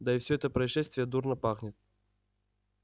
да и всё это происшествие дурно пахнет